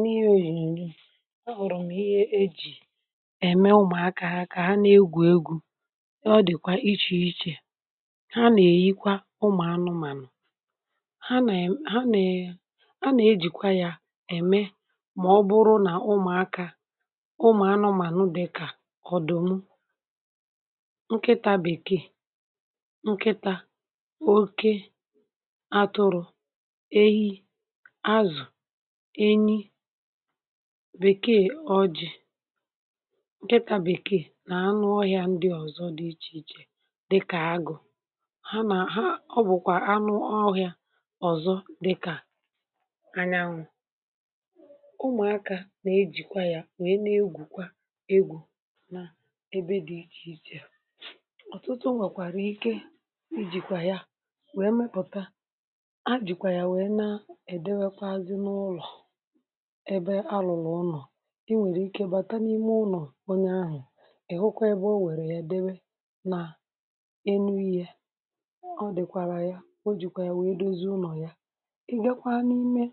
N'ihe onyonyo, a hụrụ m ihe e ji eme ụmụaka ha ka ha na-egwu egwu. Ọ dịkwa iche iche. Ha na-eyikwa ụmụ anụmanụ. Ha na e a na-ejikwa ya eme ma ọ bụrụ na ụmụaka, ụmụ anụmanụ dịka ọdụm, nkịta bekee, nki2, oké, atụrụ, ehi ,ázụ̀, enyi, bekee ọjị, nkịta bekee na anụmanụ ndị ọzọ dị iche iche dịka agụ. Ha na ha ọ bụkwa anụ ọhịa ọzọ dị ka anyanwụ. Ụmụaka nna-ejikwa ya wee na-egwukwa egwu n'ebe dị iche iche. Ọtụtụ nwekwara ike ijikwa ya wee mepụta ha jikwa ya wee na edowekwazị n'ụlọ ebe a lụlụ ụnọ. I nwere ike bata n'ime ụnọ onye ahụ, ị hụkwa ebe o weere ya dewe na enu ihe. Ọ dịkwara ya o jikwa ya wee dozi ụnọ ya. Ị bịakwa n'ime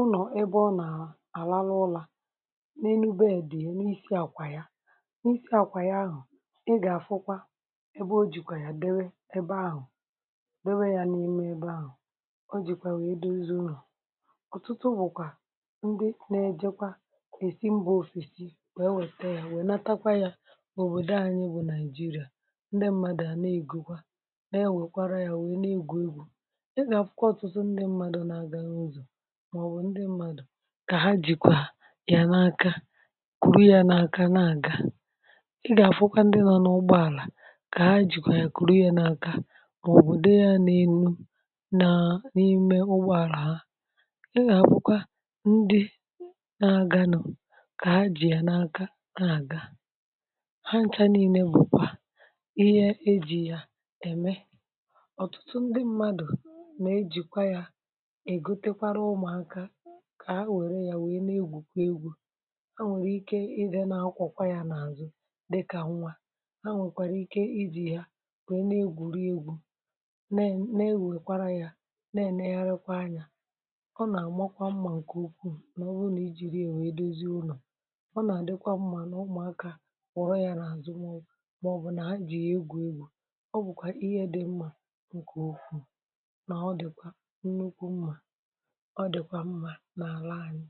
ụnọ ebe ọ na-alalụ ụla, n'enu beedị ya n'isi àkwà ya, n'isi àkwà ya ahụ ị ga-afụkwa ebe o jikwa ya dewe ebe ahụ, dewe ya n'ime ebe ahụ. O jikwa ya wee dozi ụnọ. Ọtụtụ bụkwa ndị na-ejekwa esi mba ofesi wee wete ya wenatakwa ya obodo anyị bụ Naịjirịa. Ndị mmadụ a na-egokwa na-ewekwara ya na-egwu egwu. Ị na-afụkwa ọtụtụ ndị mmadụ na-aga n'ụzọ maọbụ ndị mmadụ ka ha jikwa ya n'aka, kuru ya n'aka na-aga. Ị ga-afụkwaa ndị nọ n'ụgbọala ka ha jikwa ya kuru ya n'aka maọbụ dewe ya n'elu na n'ime ụgbọala ahụ. Ị na-afụkwa ndị na-aganụ ka ha ji ya n'aka na-aga. Ha ncha niile bụkwa ihe e ji eme. Ọtụtụ ndị mmadụ na-ejikwa ya egotekwara ụmụaka ka ha were ya wee na-egwukwa egwu. Ha nwere ike ị dị na-akwọ ya n'azụ dịka nwa. Ha nwekwara ike i ji ya wee na-egwuri egwu na na ewekwara ya na-enegharịkwa anya. Ọ na-amakwa mma nke ukwuu ọ bụrụ na i jiri ya wee dozi ụnọ na ụmụaka kwọrọ ya n'azụ maọbụ na ha ji ya egwu egwu. Ọ bụkwa ihe dị mma nke ukwuu na ọ dịkwa nnukwu mma. Ọ dị mma n'ala anyị.